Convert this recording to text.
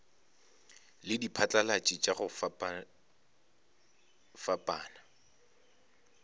le diphatlalatši tša go fapafapana